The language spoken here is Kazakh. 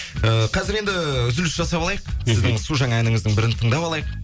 ыыы қазір енді үзіліс жасап алайық сіздің су жаңа әніңіздің бірін тыңдап алайық